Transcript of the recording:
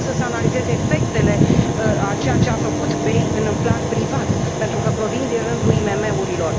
Pot însă să analizez efectele a ceea ce a făcut BEI în plan privat, pentru că provin din rândul IMM urilor.